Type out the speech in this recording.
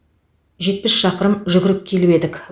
жетпіс шақырым жүгіріп келіп едік